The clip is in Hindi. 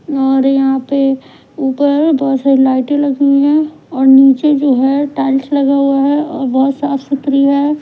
और यहां पे ऊपर बहुत सारी लाइटें लगी हुई है और नीचे जो है टाइल्स लगा हुआ है और बहुत साफ सुथरी है।